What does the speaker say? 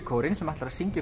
kórinn sem ætlar að syngja